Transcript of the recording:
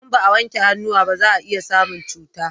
In ba a wanke hannuwa ba za a iya samun cuta